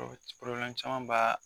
caman b'a